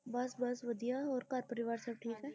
ਬਸ ਬਸ ਵਧੀਆ ਹੋਰ ਘਰ ਪਰਿਵਾਰ ਸਭ ਠੀਕ ਹੈ।